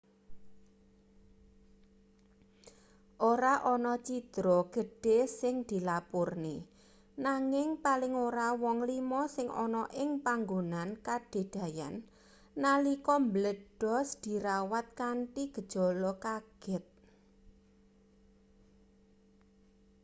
ora ana cidra gedhe sing dilapurne nanging paling ora wong lima sing ana ing panggonan kadadeyan nalika mbledhos dirawat kanthi gejala kaget